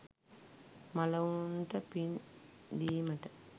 මළවුන්ට පින් දීමට,